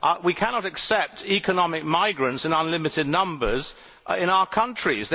We cannot accept economic migrants in unlimited numbers in our countries.